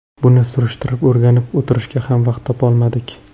Buni surishtirib, o‘rganib o‘tirishga ham vaqt topolmadik.